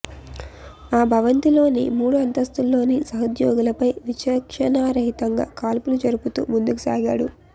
ఆ భవంతిలోని మూడు అంతస్తుల్లోని సహోద్యోగులపై విచక్షణారహితంగా కాల్పులు జరుపుతూ ముందుకు సాగాడు